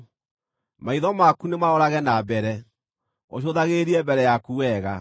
Maitho maku nĩmarorage na mbere, ũcũthagĩrĩrie mbere yaku wega.